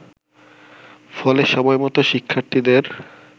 ফলে সময়মত শিক্ষার্থীদের